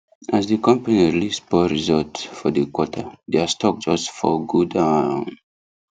as the company release poor result for the quarter their stock just fall go down